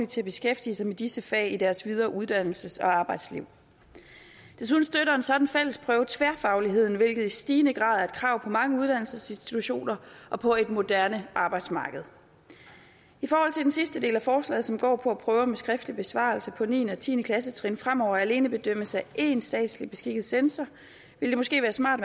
til at beskæftige sig med disse fag i deres videre uddannelses og arbejdsliv desuden støtter en sådan fællesprøve tværfagligheden hvilket i stigende grad er et krav på mange uddannelsesinstitutioner og på et moderne arbejdsmarked i forhold til den sidste del af forslaget som går på at prøver med skriftlig besvarelse på niende og tiende klassetrin fremover alene bedømmes af én statsligt beskikket censor vil det måske være smart